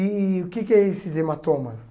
E o que que é esses hematomas?